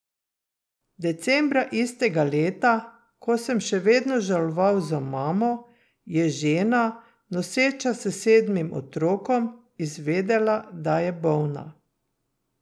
Decembra istega leta, ko sem še vedno žaloval za mamo, je žena, noseča s sedmim otrokom, izvedela, da je bolna.